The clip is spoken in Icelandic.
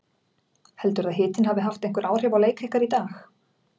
Heldurðu að hitinn hafi haft einhver áhrif á leik ykkar í dag?